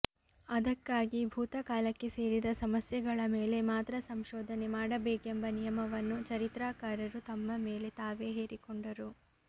ಅದಕ್ಕಾಗಿ ಭೂತಕಾಲಕ್ಕೆ ಸೇರಿದ ಸಮಸ್ಯೆಗಳ ಮೇಲೆ ಮಾತ್ರ ಸಂಶೋಧನೆ ಮಾಡಬೇಕೆಂಬ ನಿಯಮವನ್ನು ಚರಿತ್ರಕಾರರು ತಮ್ಮ ಮೇಲೆ ತಾವೇ ಹೇರಿಕೊಂಡರು